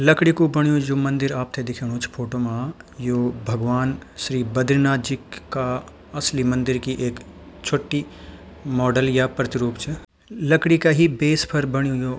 लकड़ी कु बण्यु जू मंदिर आपथे दिखेणु च फोटो मा यो भगवान् श्री बदरीनाथ जी का असली मंदिर की एक छुट्टी मॉडल या प्रतिरूप च लकड़ी का ही बेस पर बण्यु यो।